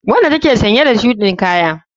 Wanda take sanye da shudin Kaya.